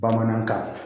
Bamanankan